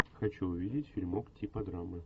хочу увидеть фильмок типа драмы